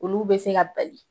Olu bɛ se ka bali